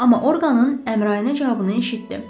Amma Orqanın Əmrayına cavabını eşitdi.